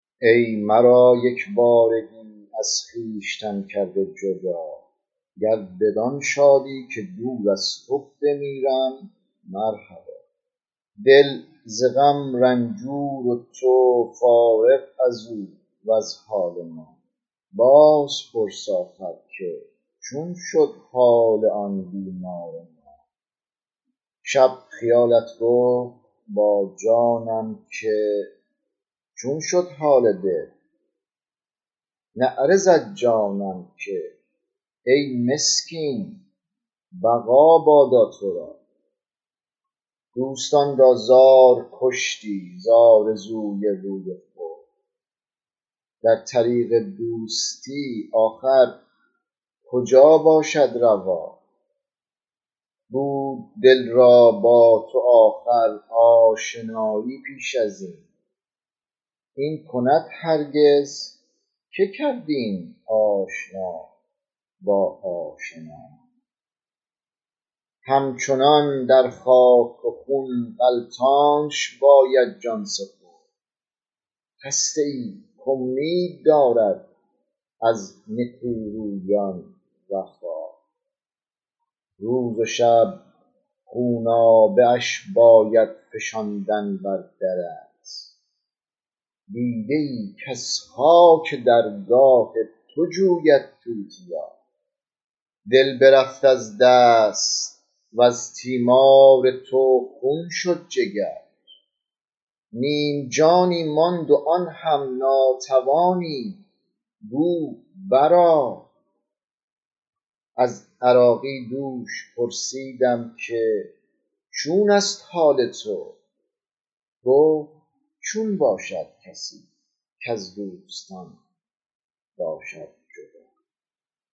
ای مرا یک بارگی از خویشتن کرده جدا گر بدآن شادی که دور از تو بمیرم مرحبا دل ز غم رنجور و تو فارغ ازو وز حال ما بازپرس آخر که چون شد حال آن بیمار ما شب خیالت گفت با جانم که چون شد حال دل نعره زد جانم که ای مسکین بقا بادا تو را دوستان را زار کشتی ز آرزوی روی خود در طریق دوستی آخر کجا باشد روا بود دل را با تو آخر آشنایی پیش ازین این کند هرگز که کرد این آشنا با آشنا هم چنان در خاک و خون غلتانش باید جان سپرد خسته ای کامید دارد از نکورویان وفا روز و شب خونابه اش باید فشاندن بر درت دیده ای کز خاک درگاه تو جوید توتیا دل برفت از دست وز تیمار تو خون شد جگر نیم جانی ماند و آن هم ناتوانی گو بر آ از عراقی دوش پرسیدم که چون است حال تو گفت چون باشد کسی کز دوستان باشد جدا